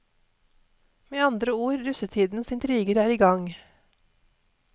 Med andre ord, russetidens intriger er i gang.